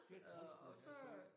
Det trist når det er sådan